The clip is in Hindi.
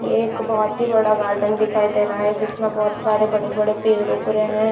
ये एक बहोत ही बड़ा गार्डन दिखाई दे रहा है जिसमें बहोत सारे बड़े-बड़े पेड़ उग रहे हैं।